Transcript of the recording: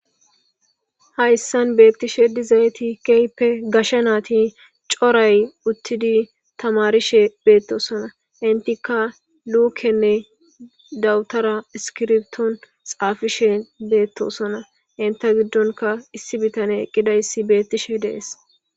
hayssan beettishe dizayti keyppe gasha naati coray uttidi tamarishe beettosona intika luukenne dawutara iskirbton xaafishe beettosona inta giddonka issi bitane gidayssi beettishe dees